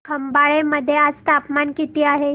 खंबाळे मध्ये आज तापमान किती आहे